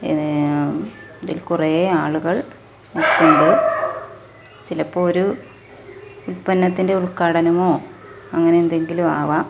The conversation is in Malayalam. ഏഹ് കുറെ ആളുകൾ ഉണ്ട് ചിലപ്പോ ഒരു ഉത്പന്നത്തിന്റെ ഉദ്ഘാടനമോ അങ്ങനെ എന്തെങ്കിലും ആവാം.